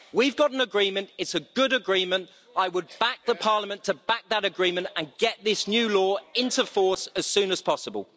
We've got an agreement, it is a good agreement, I would back Parliament to back that agreement and get this new law into force as soon as possible.